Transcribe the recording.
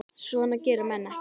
Svona gera menn ekki